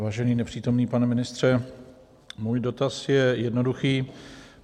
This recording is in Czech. Vážený nepřítomný pane ministře, můj dotaz je jednoduchý.